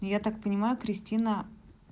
я так понимаю кристина